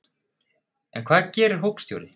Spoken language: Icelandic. En hvað gerir hópstjóri?